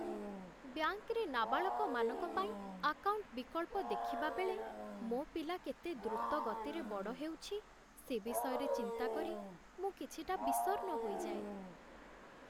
ବ୍ୟାଙ୍କରେ ନାବାଳକମାନଙ୍କ ପାଇଁ ଆକାଉଣ୍ଟ ବିକଳ୍ପ ଦେଖିବାବେଳେ, ମୋ ପିଲା କେତେ ଦ୍ରୁତ ଗତିରେ ବଡ଼ ହେଉଛି, ସେ ବିଷୟରେ ଚିନ୍ତା କରି ମୁଁ କିଛିଟା ବିଷର୍ଣ୍ଣ ହୋଇଯାଏ।